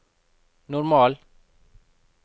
normal